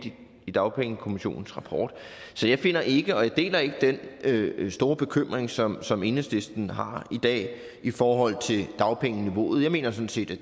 i dagpengekommissionens rapport så jeg finder ikke og jeg deler ikke den store bekymring som som enhedslisten har i dag i forhold til dagpengeniveauet jeg mener sådan set